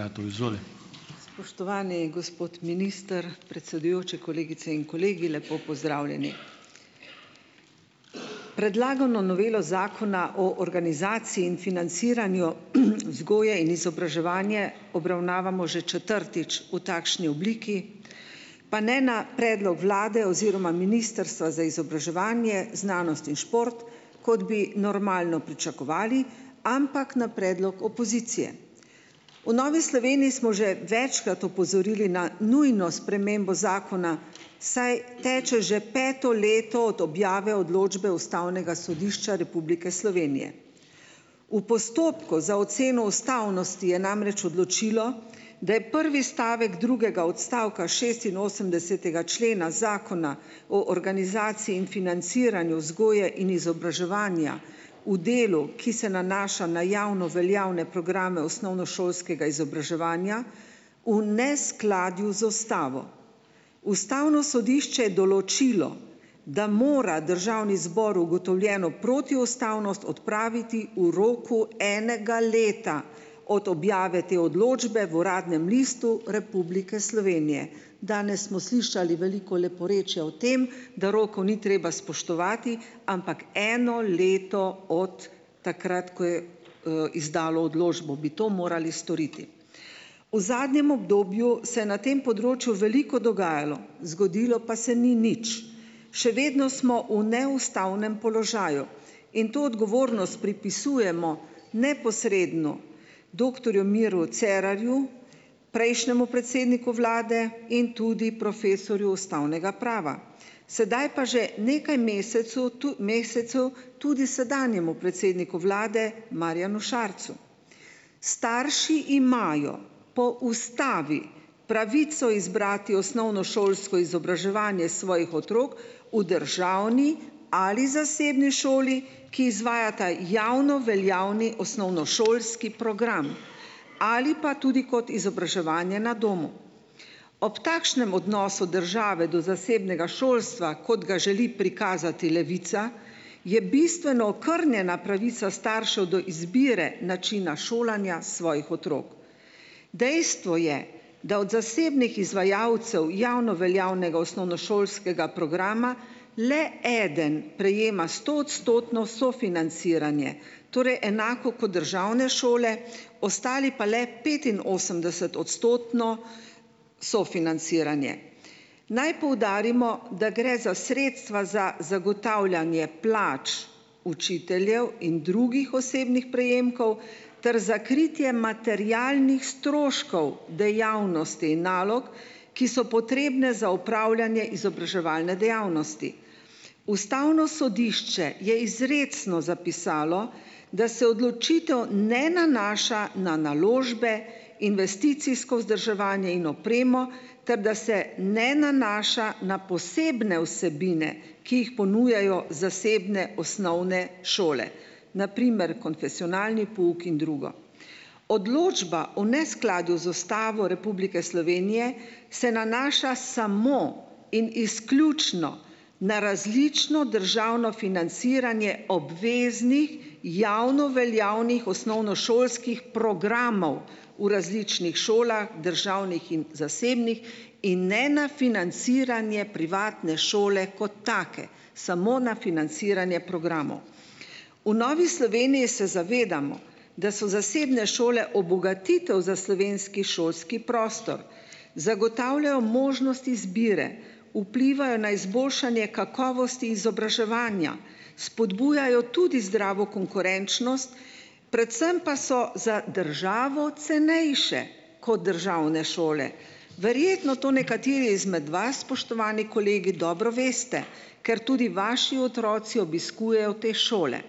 Spoštovani gospod minister, predsedujoči, kolegice in kolegi, lepo pozdravljeni! Predlagano novelo Zakona o organizaciji in financiranju vzgoje in izobraževanja obravnavamo že četrtič v takšni obliki, pa ne na predlog vlade oziroma ministrstva za izobraževanje, znanost in šport kot bi normalno pričakovali, ampak na predlog opozicije. V Novi Sloveniji smo že večkrat opozorili na nujno spremembo zakona, saj teče že peto leto od objave odločbe Ustavnega sodišča Republike Slovenije. V postopku za oceno ustavnosti je namreč odločilo, da je prvi stavek drugega odstavka šestinosemdesetega člena Zakona o organizaciji in financiranju vzgoje in izobraževanja v delu, ki se nanaša na javno veljavne programe osnovnošolskega izobraževanja, v neskladju z ustavo. Ustavno sodišče je določilo, da mora državni zbor ugotovljeno protiustavnost odpraviti v roku enega leta od objave te odločbe v Uradnem listu Republike Slovenije. Danes smo slišali veliko leporečja o tem, da rokov ni treba spoštovati, ampak eno leto od takrat, ko je, izdalo odločbo bi to morali storiti. V zadnjem obdobju se je na tem področju veliko dogajalo, zgodilo pa se ni nič. Še vedno smo v neustavnem položaju in to odgovornost pripisujemo neposredno doktorju Miru Cerarju, prejšnjemu predsedniku vlade in tudi profesorju ustavnega prava. Sedaj pa že nekaj mesecu mesecev tudi sedanjemu predsedniku vlade, Marjanu Šarcu. Starši imajo po ustavi pravico izbrati osnovnošolsko izobraževanje svojih otrok v državni ali zasebni šoli, ki izvajata javno veljavni osnovnošolski program ali pa tudi kot izobraževanje na domu. Ob takšnem odnosu države do zasebnega šolstva kot ga želi prikazati Levica, je bistveno okrnjena pravica staršev do izbire načina šolanja svojih otrok. Dejstvo je, da od zasebnih izvajalcev javno veljavnega osnovnošolskega programa le eden prejema stoodstotno sofinanciranje. Torej enako kot državne šole, ostali pa le petinosemdesetodstotno sofinanciranje. Naj poudarimo, da gre za sredstva za zagotavljanje plač učiteljev in drugih osebnih prejemkov ter za kritje materialnih stroškov dejavnosti in nalog, ki so potrebne za opravljanje izobraževalne dejavnosti. Ustavno sodišče je izrecno zapisalo, da se odločitev ne nanaša na naložbe, investicijsko vzdrževanje in opremo, ter da se ne nanaša na posebne vsebine, ki jih ponujajo zasebne osnovne šole, na primer konfesionalni pouk in drugo. Odločba o neskladju z Ustavo Republike Slovenije se nanaša samo in izključno na različno državno financiranje obveznih javno veljavnih osnovnošolskih programov v različnih šolah, državnih in zasebnih in ne na financiranje privatne šole kot take. Samo na financiranje programov. V Novi Sloveniji se zavedamo, da so zasebne šole obogatitev za slovenski šolski prostor. Zagotavljajo možnost izbire, vplivajo na izboljšanje kakovosti izobraževanja, spodbujajo tudi zdravo konkurenčnost, predvsem pa so za državo cenejše, kot državne šole. Verjetno to nekateri izmed vas, spoštovani kolegi, dobro veste, ker tudi vaši otroci obiskujejo te šole.